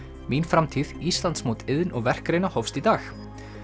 mín framtíð Íslandsmót iðn og verkgreina hófst í dag